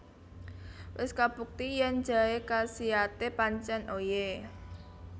Wis kabukti yen jaé kasiate pancen oye